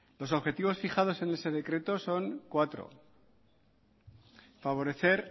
los objetivos fijados en ese decreto son cuatro favorecer